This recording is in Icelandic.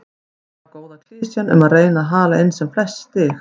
Gamla góða klisjan og að reyna að hala inn sem flest stig.